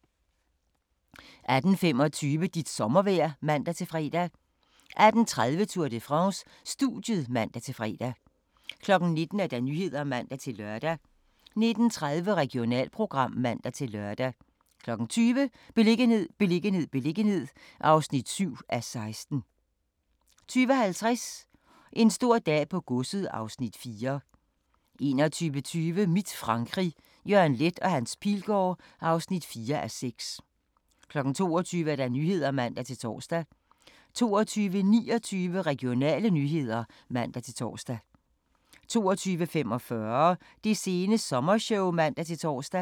18:25: Dit sommervejr (man-fre) 18:30: Tour de France: Studiet (man-fre) 19:00: Nyhederne (man-lør) 19:30: Regionalprogram (man-lør) 20:00: Beliggenhed, beliggenhed, beliggenhed (7:16) 20:50: En stor dag på godset (Afs. 4) 21:20: Mit Frankrig – Jørgen Leth & Hans Pilgaard (4:6) 22:00: Nyhederne (man-tor) 22:29: Regionale nyheder (man-tor) 22:45: Det sene sommershow (man-tor)